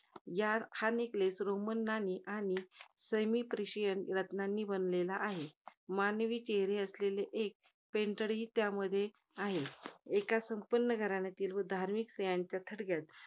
या~ हा neckless roman आणि semi presian रत्नांनी बनलेला आहे. मानवी चेहरे असेलेले एक pendent ही त्यामध्ये आहे. एका संपन्न घरातील धार्मिक धार्मिक स्त्रियांच्या थडग्यात